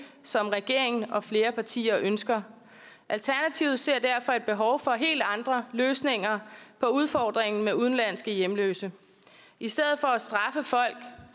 som regeringen og flere partier ønsker alternativet ser derfor et behov for helt andre løsninger på udfordringen med de udenlandske hjemløse i stedet